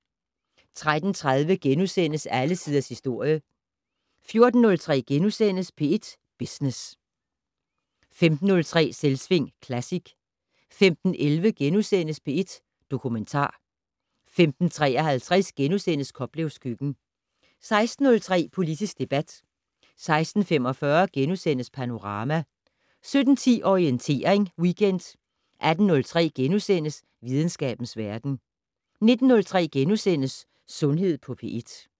13:30: Alle tiders historie * 14:03: P1 Business * 15:03: Selvsving Classic 15:11: P1 Dokumentar * 15:53: Koplevs køkken * 16:03: Politisk debat 16:45: Panorama * 17:10: Orientering Weekend 18:03: Videnskabens verden * 19:03: Sundhed på P1 *